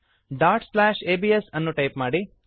abs dot slash ABS ಎಂದು type ಮಾಡಿರಿ